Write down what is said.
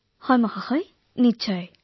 হয় মহোদয় নিশ্চয়